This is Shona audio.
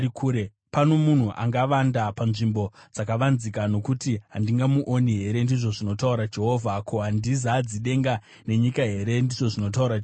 Pano munhu angavanda, panzvimbo dzakavanzika zvokuti handingamuoni here?” ndizvo zvinotaura Jehovha. “Ko, handizadzi denga nenyika here?” ndizvo zvinotaura Jehovha.